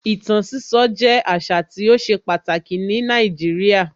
Ìtàn sísọ jẹ́ àṣà tí ó ṣe pàtàkì ní Nàìjíríà.